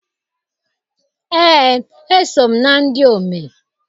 Ee, eso m na ndị omee.